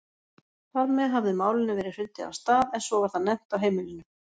Þar með hafði Málinu verið hrundið af stað en svo var það nefnt á heimilinu.